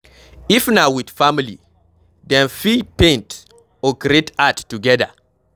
If na with family, dem fit paint or create art together